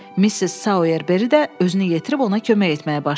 Missis Soyerberi də özünü yetirib ona kömək etməyə başladı.